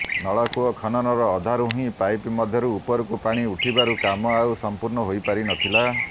ନଳକୂଅ ଖନନର ଅଧାରୁ ହିଁ ପାଇପ ମଧ୍ୟରୁ ଉପରକୁ ପାଣି ଉଠିବାରୁ କାମ ଆଉ ସମ୍ପୂର୍ଣ୍ଣ ହୋଇପାରିନଥିଲା